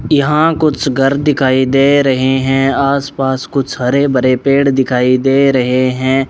यहां कुछ घर दिखाई दे रहे हैं आस पास कुछ हरे भरे पेड़ दिखाई दे रहे हैं।